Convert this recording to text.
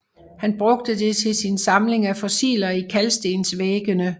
Han brugte det til sin samling af fossiler i kalkstensvæggene